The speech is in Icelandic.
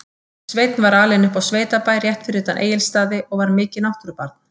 Sveinn var alinn upp á sveitabæ rétt fyrir utan Egilsstaði og var mikið náttúrubarn.